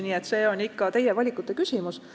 Nii et see on ikka teie valikute küsimus.